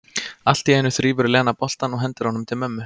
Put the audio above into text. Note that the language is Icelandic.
Allt í einu þrífur Lena boltann og hendir honum til mömmu.